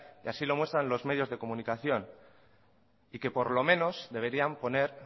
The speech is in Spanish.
y así lo muestran los medios de comunicación y que por lo menos deberían poner